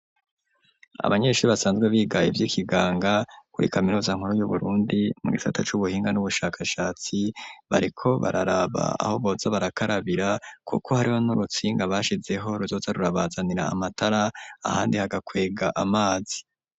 Abanyeshuri basanzwe biga ivyikiganga kuri kaminuza nkuru yu Burundi mu gisata c'ubuhinga n'ubushakashatsi bariko bararaba aho boza barakarabira kuko hariho n'urutsinga bashizeho ruzoza rurabazanira amatara ahandi hagakwega amazi.